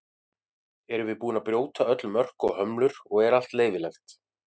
erum við búin að brjóta öll mörk og hömlur og er allt leyfilegt